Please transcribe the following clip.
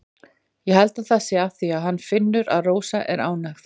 Ég held það sé af því að hann finnur að Rósa er ánægð.